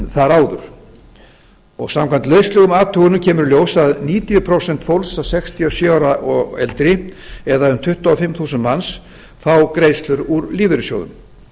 þar áður samkvæmt lauslegum athugunum kemur í ljós að níutíu prósent fólks sextíu og sjö ára og eldri eða um tuttugu og fimm þúsund manns fá greiðslur úr lífeyrissjóðum